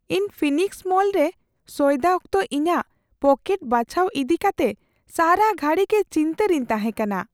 ᱤᱧ phoenix mall ᱨᱮ ᱥᱚᱭᱫᱟ ᱚᱠᱛᱚ ᱤᱧᱟᱹᱜ ᱯᱚᱠᱮᱴ ᱵᱟᱪᱷᱟᱣ ᱤᱫᱤ ᱠᱟᱛᱮ ᱥᱟᱨᱟ ᱜᱷᱟᱹᱲᱤ ᱜᱮ ᱪᱤᱱᱛᱟᱹ ᱨᱤᱧ ᱛᱟᱦᱮᱸ ᱠᱟᱱᱟ ᱾